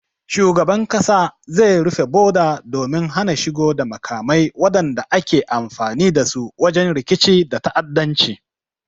Shugaban kasa zai rufe boda domin hana shigo da makamai wadanda ake amfani dasu wajen rikici da ta'addanci